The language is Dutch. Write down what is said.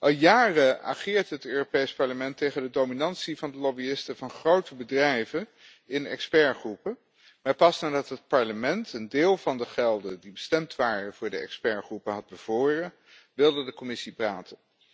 Al jaren ageert het Europees Parlement tegen de dominantie van de lobbyisten van grote bedrijven in expertgroepen, maar pas nadat het Parlement een deel van de gelden die bestemd waren voor de expertgroepen had bevroren, wilde de Commissie praten.